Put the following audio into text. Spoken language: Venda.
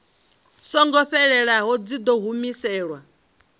songo fhelelaho dzi ḓo humiselwa